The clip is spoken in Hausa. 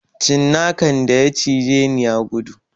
Cinnakan da ya cijeni ya gudu